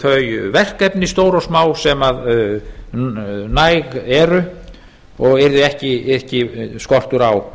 þau verkefni stór og smá sem næg eru og yrði ekki skortur á